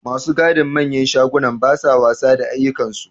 Ma su gadin manyan shagunan ba sa wasa da aikinsu.